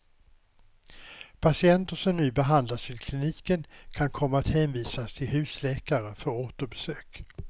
Patienter som nu behandlas vid kliniken kan komma att hänvisas till husläkare för återbesök.